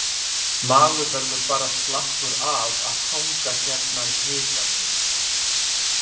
Maður verður bara slappur af að hanga hérna í hitanum,